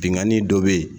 Binganni dɔ bɛ ye